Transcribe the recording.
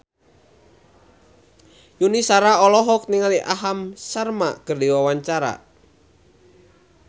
Yuni Shara olohok ningali Aham Sharma keur diwawancara